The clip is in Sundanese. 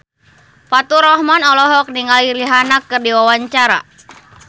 Faturrahman olohok ningali Rihanna keur diwawancara